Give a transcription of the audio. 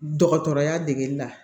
Dɔgɔtɔrɔya degeli la